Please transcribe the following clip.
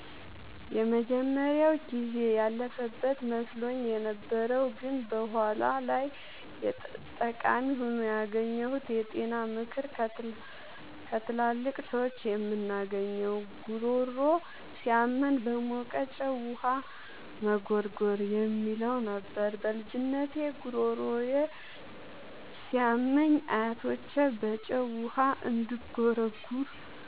የመጀመሪያው ጊዜ ያለፈበት መስሎኝ የነበረው ግን በኋላ ላይ ጠቃሚ ሆኖ ያገኘሁት የጤና ምክር ከትላልቅ ሰዎች የምናገኘው "ጉሮሮ ሲያመን በሞቀ ጨው ውሃ መጉርጎር" የሚለው ነበር። በልጅነቴ ጉሮሮዬ ሲያመኝ አያቶቼ በጨው ውሃ እንድጉርጎር